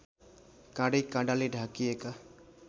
काँडैकाँडाले ढाकिएका